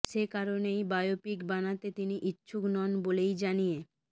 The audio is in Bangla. সেই কারণেই বায়োপিক বানাতে তিনি ইচ্ছুক নন বলেই জানিয়ে